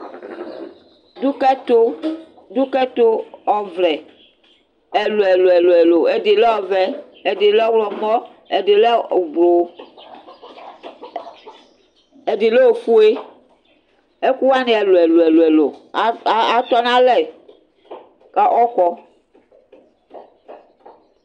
Ɖukɛtu ɖukɛtuɔwlɛ ɛluɛlu ɛluɛlu: ɛɖi lɛ ɔvɛ, ɛɖi lɛ ɔwlɔmɔ, ɛɖi lɛ ublu, ɛɖi lɛ ofue Ɛkuwani ɛluɛlu ɛluɛlu a atɔnu alɛ, ku ɔkɔ